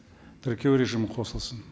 тіркеу режимі қосылсын